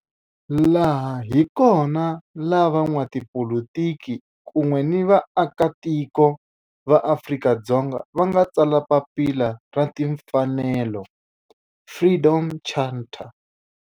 Laha hi kona la van'watipolitiki kun'we ni vaaka tiko va Afrika-Dzonga va nga tsala papila ra timfanelo, Freedom Charter.